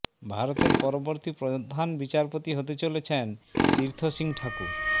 ভারতের পরবর্তী প্রধান বিচারপতি হতে চলেছেন তীর্থ সিং ঠাকুর